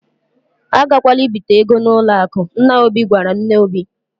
"A gakwala ibite ego n'ụlọ akụ, " nna Obi gwara nne Obi.